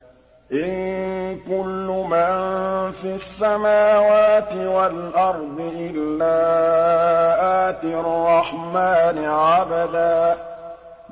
إِن كُلُّ مَن فِي السَّمَاوَاتِ وَالْأَرْضِ إِلَّا آتِي الرَّحْمَٰنِ عَبْدًا